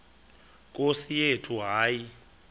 nkosi yethu hayi